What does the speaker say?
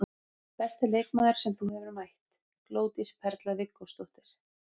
Besti leikmaður sem þú hefur mætt: Glódís Perla Viggósdóttir.